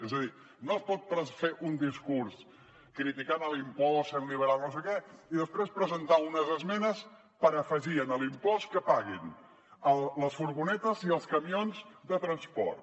és a dir no es pot fer un discurs criticant l’impost sent liberal no sé què i després presentar unes esmenes per afegir a l’impost que paguin les furgonetes i els camions de transport